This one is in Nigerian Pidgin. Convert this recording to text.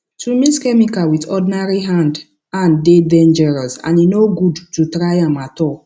to mix chemical with ordinary hand hand dey dangerous and e no good to try am at all